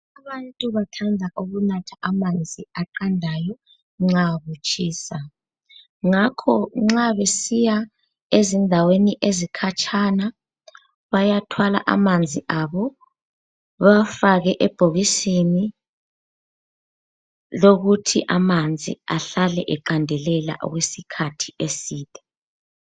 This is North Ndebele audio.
Abantu bathanda ukunatha amanzi aqandayo nxa kutshisa. Ngakho nxa besiya ezindaweni ezikhatshana, bayathwala amanzi abo, bawafake ebhokisini, lokuthi amanzi ahlale eqandelela okwesikhathi eside.